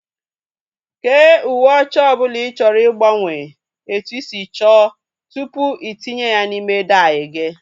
kee uwe ọcha ọbụla ị chọrọ ịgbanwe etu ị si chọọ tupu itinye ya n'ime dai gị